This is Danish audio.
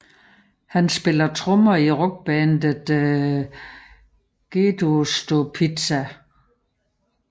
Han spiller trommer i rockbandet Gedeostepizza